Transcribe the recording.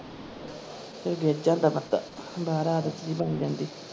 ਫਿਰ ਗਿੱਜ ਜਾਂਦਾ ਬੰਦਾ ਬਾਹਰ ਆਦਤ ਜਹੀ ਬਣ ਜਾਂਦੀ।